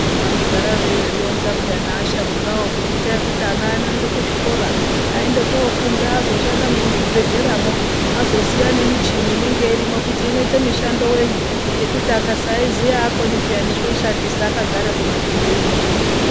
Vanogara veizvironza pa neasharukawokuti itai kuti ana aende kuzvikoro anoende kofunda azoshanda nemuzvibhedhleramwo azoziya nemichini inenge irimwo kuti inoite mishando yenyi nekuti Akasaiziya aakoni peya nekuishandisa akagare kumatuntu uno.